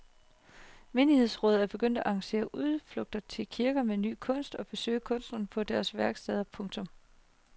Menighedsråd er begyndt at arrangere udflugter til kirker med ny kunst og at besøge kunstnere på deres værksteder. punktum